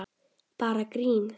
Bara grín!